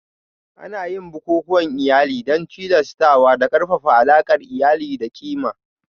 Ana yin bukukuwan iyali don tilastawa da ƙarfafa alaƙar iyali da ƙima